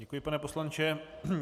Děkuji, pane poslanče.